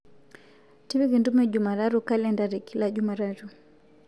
tipika entumo e jumatatu kalenda te kila jumatatu